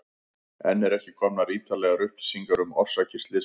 Enn eru ekki komnar ítarlegar upplýsingar um orsakir slyssins.